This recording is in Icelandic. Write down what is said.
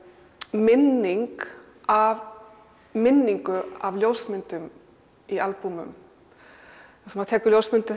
minning af minningu af ljósmyndum í albúmum maður tekur ljósmyndir